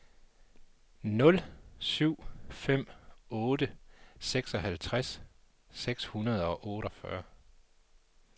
nul syv fem otte seksoghalvtreds seks hundrede og otteogfyrre